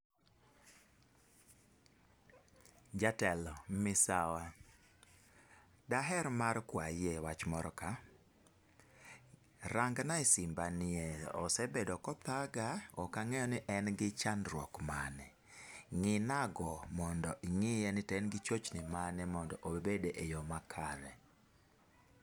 Jatelo misawa, daher mar kwayi e wach moro ka, rangna e simba nie osebedo kothaga ok ang'eyo ni en gi chandruok mane. Ng'ina go mondo ing'iye ni en gi chochni mane mondo obed e yoo makare.